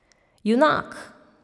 Junak!